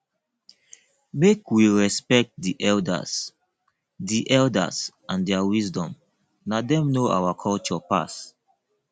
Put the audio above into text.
make we respect di elders di elders and their wisdom na dem know our culture pass